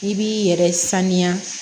I b'i yɛrɛ sanuya